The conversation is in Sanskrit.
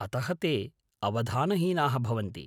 अतः ते अवधानहीनाः भवन्ति।